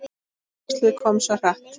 Æxlið kom svo hratt.